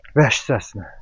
Vəhşicəsinə.